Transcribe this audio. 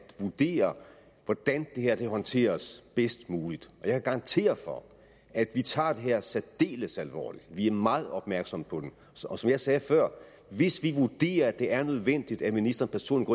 vurdere hvordan det her håndteres bedst muligt og jeg kan garantere for at vi tager det her særdeles alvorligt vi er meget opmærksomme på det og som jeg sagde før hvis vi vurderer at det er nødvendigt at ministeren personligt